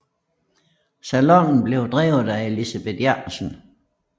Salonen blev drevet af Elisabeth Jacobsen